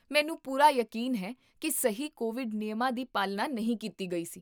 ਮੈਨੂੰ ਪੂਰਾ ਯਕੀਨ ਹੈ ਕੀ ਸਹੀ ਕੋਵਿਡ ਨਿਯਮਾਂ ਦੀ ਪਾਲਣਾ ਨਹੀਂ ਕੀਤੀ ਗਈ ਸੀ